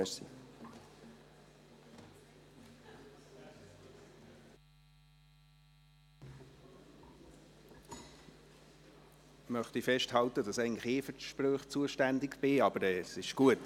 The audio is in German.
Ich möchte festhalten, dass eigentlich ich für die Sprüche zuständig bin, aber es ist gut.